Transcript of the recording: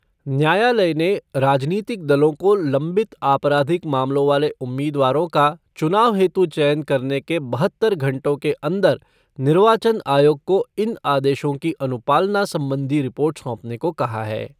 न्यायालय ने राजनीतिक दलों को लंबित आपराधिक मामलों वाले उम्मीदवारों का चुनाव हेतु चयन करने के बहत्तर घंटो के अंदर निर्वाचन आयोग को इन आदेशों की अनुपालना संबंधी रिपोर्ट सोंपने को कहा है।